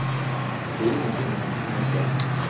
Det är ingenting man kan tvinga fram.